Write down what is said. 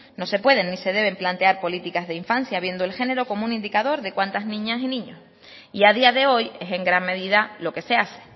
no se pueden ni se deben plantear políticas de infancia viendo el género como un indicador de cuántas niñas y niños y a día de hoy es en gran medida lo que se hace